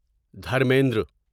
Dharmendra